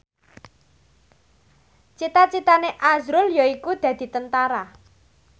cita citane azrul yaiku dadi Tentara